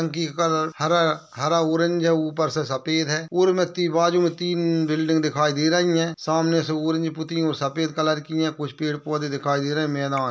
टंकी का कलर हरा हरा ऑरेंज है। ऊपर से सफेद है। बाजू में तीन बिल्डिंग दिखाई दे रही है। सामने से ऑरेंज पुती हुई और सफेद कलर की है। कुछ पेड़ पौधे दिखाई दे रहे हैं। मैदान --